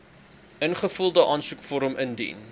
ingevulde aansoekvorm indien